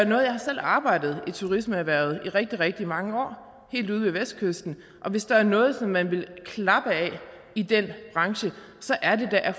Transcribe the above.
jeg har selv arbejdet i turismeerhvervet i rigtig rigtig mange år helt ude ved vestkysten og hvis der er noget som man vil klappe af i den branche så er det da